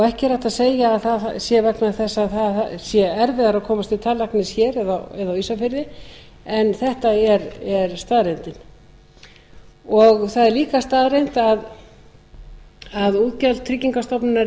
ekki er hægt að segja að það sé vegna þess að það sé erfiðara að komast til tannlæknis hér eða á ísafirði en þetta er staðreyndin það er líka staðreynd að útgjöld tryggingastofnunar